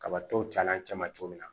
Kabatɔw cayala cɛman cogo min na